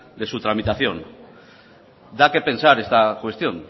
de su tramitación da que pensar esta cuestión